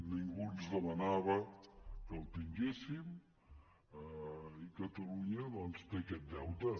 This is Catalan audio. ningú ens demanava que el tinguéssim i catalunya doncs té aquest deute